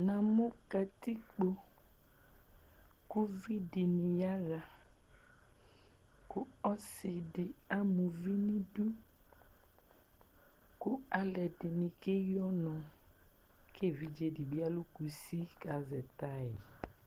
namu katikpo uvi dɩnɩ yaɣa kʊ ɔsi dɩ ama uvi nidu kʊ aluɛdɩnɩ keyi ɔnʊ, kʊ evidze dɩ bɩ alʊ kusi kʊ azɛ taya